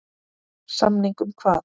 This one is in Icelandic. Samning um hvað?